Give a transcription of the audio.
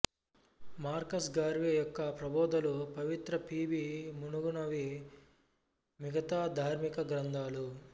Marcus Garvey యొక్క ప్రబోధలు పవిత్ర పిబి మున్నగునవి మిగతా ధార్మిక గ్రంథాలు